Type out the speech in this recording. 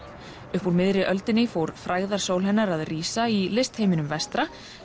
uppúr miðri öldinni fór frægðarsól hennar að rísa í vestra